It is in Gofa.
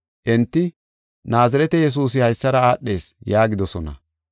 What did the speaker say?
Enti, “Naazirete Yesuusi haysara aadhees” yaagidosona.